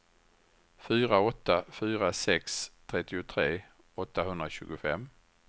fyra åtta fyra sex trettiotre åttahundratjugofem